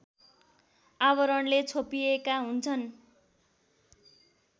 आवरणले छोपिएका हुन्छन्